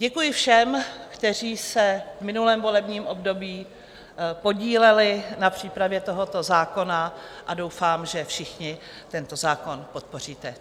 Děkuji všem, kteří se v minulém volebním období podíleli na přípravě tohoto zákona, a doufám, že všichni tento zákon podpoříte.